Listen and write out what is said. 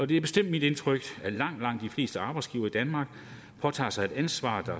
det er bestemt mit indtryk at langt langt de fleste arbejdsgivere i danmark påtager sig et ansvar